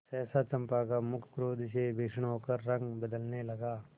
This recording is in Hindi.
सहसा चंपा का मुख क्रोध से भीषण होकर रंग बदलने लगा